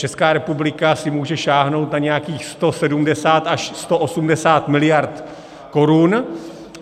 Česká republika si může sáhnout na nějakých 170 až 180 mld. korun.